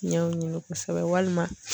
Ɲɛw ɲini kosɛbɛ walima